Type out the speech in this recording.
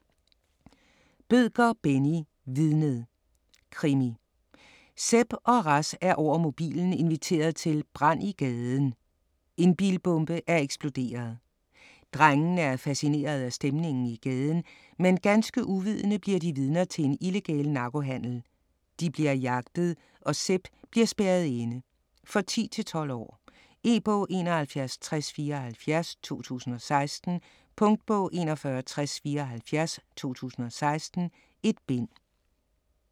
Bødker, Benni: Vidnet Krimi. Sepp og Ras er over mobilen inviteret til "brænd i gaden" - en bilbombe er eksploderet. Drengene er fascineret af stemningen i gaden, men ganske uvidende bliver de vidner til illegal narkohandel. De bliver jagtet, og Sepp bliver spærret inde. For 10-12 år. E-bog 716074 2016. Punktbog 416074 2016. 1 bind.